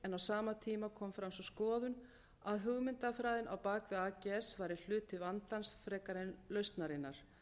en á sama tíma kom fram sú skoðun að hugmyndafræðin á bak við ags væri hluti vandans frekar en lausnarinnar